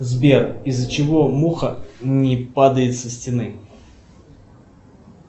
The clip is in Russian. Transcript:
сбер из за чего муха не падает со стены